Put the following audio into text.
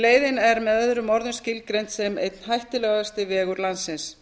leiðin er með öðrum orðum skilgreind sem einn hættulegasti vegur landsins